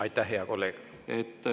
Aitäh, hea kolleeg!